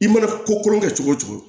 I mana ko kolon kɛ cogo o cogo